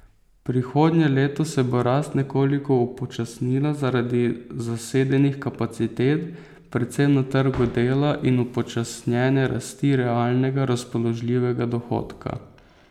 Prihodnje leto se bo rast nekoliko upočasnila zaradi zasedenih kapacitet, predvsem na trgu dela, in upočasnjene rasti realnega razpoložljivega dohodka.